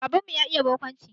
Baban mu ya iya barkwanci